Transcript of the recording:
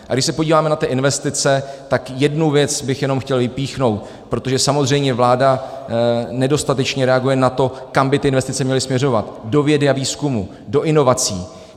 A když se podíváme na ty investice, tak jednu věc bych jenom chtěl vypíchnout, protože samozřejmě vláda nedostatečně reaguje na to, kam by ty investice měly směřovat - do vědy a výzkumu, do inovací.